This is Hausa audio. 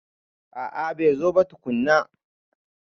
A'a bai zo ba tukunna.